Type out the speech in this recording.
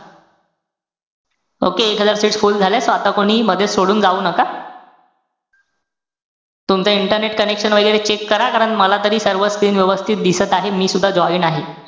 Okay. एकदा seat full झाल्या. आता कोणीही मधेच सोडून जाऊ नका. तुमचं internet connection वैगेरे check करा. कारण मला तरी सर्व screen व्यवस्थित दिसत आहे. मी सुद्धा join आहे.